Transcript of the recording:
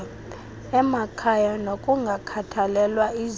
emakhaya nokungakhathalelwa izifo